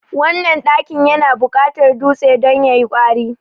wannan ɗakin yana buƙatar dutse don ya yi kwari